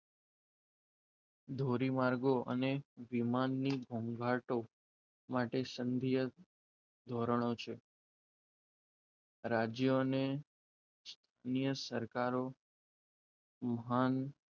ધોરીમાર્ગો અને વિમાનની ઘોંઘાટો માટે સંધિય ધોરણો છે રાજ્ય અને નિયત સરકારો મહાન,